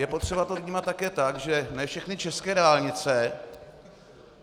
Je potřeba to vnímat také tak, že ne všechny české dálnice...